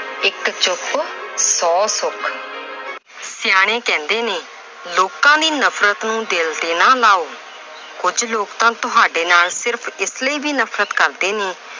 ਇੱਕ ਚੁੱਪ, ਸੌ ਸੁੱਖ। ਸਿਆਣੇ ਕਹਿੰਦੇ ਨੇ ਲੋਕਾਂ ਦੀ ਨਫਰਤ ਨੂੰ ਦਿਲ ਤੇ ਨਾ ਲਾਓ। ਕੁਝ ਲੋਕ ਤਾਂ ਤੁਹਾਡੇ ਨਾਲ ਸਿਰਫ਼ ਇਸ ਲਈ ਵੀ ਨਫਰਤ ਕਰਦੇ ਨੇ